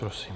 Prosím.